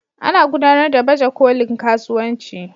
Ana gudanar da baje kolin kasuwanci.